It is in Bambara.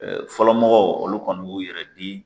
Fɔlɔmɔgɔw olu kɔni b'u yɛrɛ di